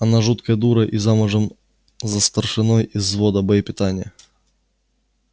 она жуткая дура и замужем за старшиной из взвода боепитания